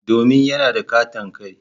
Domin yana da katon kai.